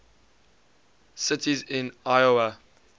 cities in iowa